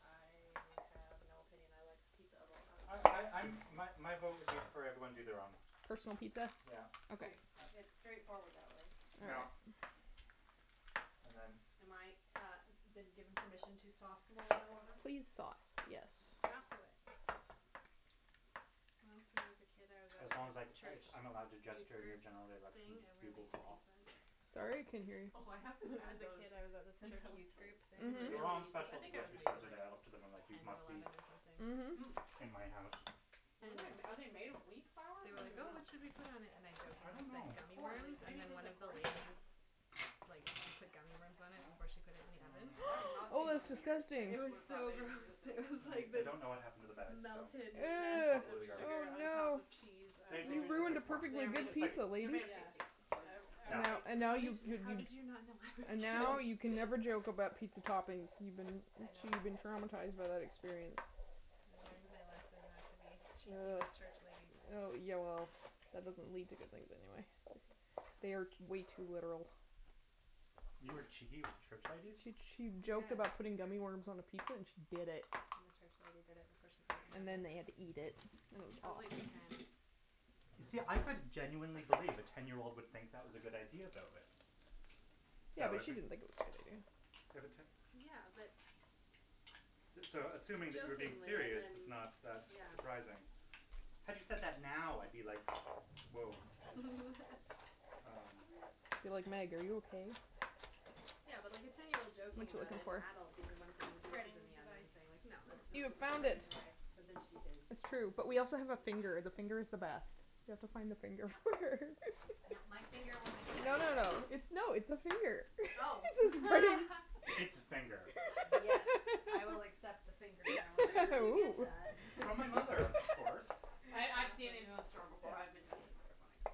I have no opinion. I like pizza of all kinds. Oh I I'm My my vote would be for everyone to do their own. Personal pizza? Yeah. Okay. Okay. Uh It's straightforward that way. Yeah. And then. Am I, uh, been given permission to sauce them all in order? Please sauce, yes. Okay. Sauce away. Once when I was a kid, I was at As long as like church I'm allowed to youth gesture in your group general thing election and we were bugle making call. pizzas. Sorry, I couldn't hear you. Oh, I haven't When I was had a those kid, I was at this since church I was youth like. group thing Mhm. making They're all on pizzas. special I at the think I was grocery store making today. I looked at them and like like they ten or must be eleven or something. Hmm. Mhm. in my house. Mm. Are they made of wheat flour? They were I like, "Oh, dunno. what should we put on it," and I I don't jokingly said know. gummy Corn. It's worms and maybe then tastes one like of the corn. ladies, like, put gummy worms on it before she put it in the oven. I've not Oh, seen those that's in years. I disgusting. It just was would've thought so they didn't gross. exist It anymore. was I like I this don't know what happened to the bag, so melted mess Ew. probably of in the garbage. sugar Oh on top no. of cheese. And they You do taste ruined a like corn. They perfectly are made It's good of it's like taste. pizza, They're lady. made of Yeah. tasty. It's all you need I I to Yeah. was like, know. And now "How did you you how did you not know and I was kidding?" now you can never joke about pizza toppings. You've been. I I'm sure know. you've been traumatized by that experience. I learned my lesson not to be cheeky Uh with church ladies. uh yeah, well, that doesn't lead to good things anyway. They are way too literal. You were cheeky with church ladies? She che- Yeah. joked about putting gummy worms on a pizza, and she did it. The church lady did it before she put it And in the oven. then we had to eat it. I was like ten. See, I could genuinely believe a ten year old would think that was a good idea, though, eh. So Yeah, I but was she didn't think it was a good idea. Yeah, but. So, assuming that you were being Jokingly and serious is then not that Yeah. surprising. Had you said that now, I'd be like, "Whoah she's" Um It'd be like, "Meg, are you okay?" Yeah, but like a ten year old joking What you about looking it and the for? adult being the one A putting pizzas in spreading the oven device. and saying, like, no, Use that's this not You as a found spreading okay. it. device. But then she did That's true. But we also have a finger. And the finger is the best. You have to find a finger. No, no, my finger wasn't. No, no, no. It's no, it's Oh. It's a finger. Yes, I will accept the finger challenge. Where did you get Ooh. that? From my mother, of course. I I've seen it in the store before. Yeah. I've been tempted